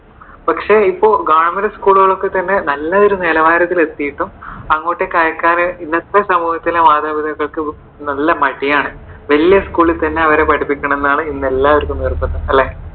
പക്ഷെ ഇപ്പോൾ government school കൾ ഒക്കെ തന്നെ നല്ല നിലവാരത്തിൽ എത്തിയിട്ടും അങ്ങോട്ടേക്ക് അയക്കാതെ ഇന്നത്തെ സമൂഹത്തിലെ ആളുകൾക്ക് നല്ല മടിയാണ്. വലിയ school ൽ തന്നെ അവരെ പഠിപ്പിക്കണം എന്നാണ് എല്ലാര്‍ക്കും നിർബന്ധം അല്ലെ?